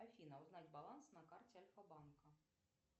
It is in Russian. афина узнать баланс на карте альфабанка